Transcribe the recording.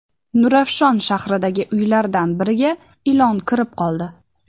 Nurafshon shahridagi uylardan biriga ilon kirib qoldi .